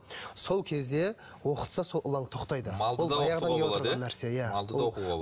сол кезде оқытса сол ылаң тоқтайды